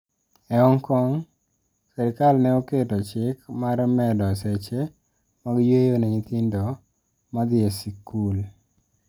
E Hong Kong, sirkal ne oketo chik mar medo seche mag yueyo ne nyithindo ma dhi e skul.